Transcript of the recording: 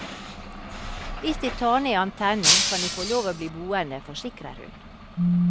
Hvis de tar ned antennen, kan de få lov til å bli boende, forsikrer hun.